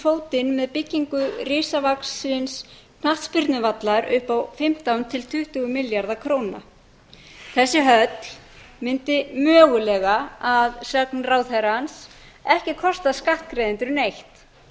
fótinn með byggingu risavaxinn knattspyrnuvallar upp á fimmtán til tuttugu milljarða króna þessi höll mundi mögulega að sögn ráðherrans ekki kosta skattgreiðendur neitt